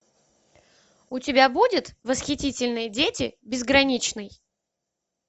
у тебя будет восхитительные дети безграничный